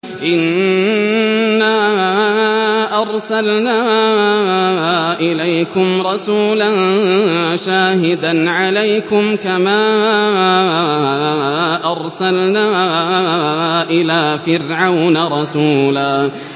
إِنَّا أَرْسَلْنَا إِلَيْكُمْ رَسُولًا شَاهِدًا عَلَيْكُمْ كَمَا أَرْسَلْنَا إِلَىٰ فِرْعَوْنَ رَسُولًا